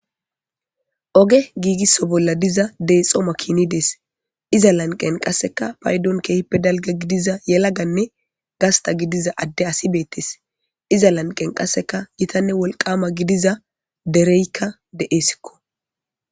Oge giigisso bolla diza deexoma kinidees iza lanqen qasseka paydon keehippe dalga gidiza yelaganne gasta gidiza adde asi beettes iza lanqen qasseka yitanne wolqama gidiza dereykka de'esikko.